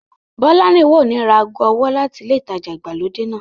Bọ́lárìnwá ò ní ra ago ọwọ́ láti ilé ìtajà ìgbàlódé náà